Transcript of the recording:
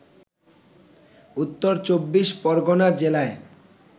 উত্তর চব্বিশ পরগণা জেলায়